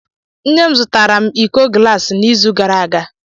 Nne m zụtara m iko glasi n'izu gara aga.